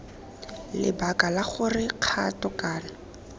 lebaka la gore kgato kana